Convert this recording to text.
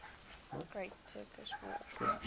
great turkish war